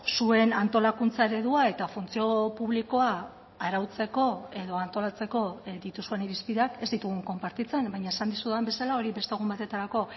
zuen antolakuntza eredua eta funtzio publikoa arautzeko edo antolatzeko dituzuen irizpideak ez ditugun konpartitzen baina esan dizudan bezala hori beste egun batetarako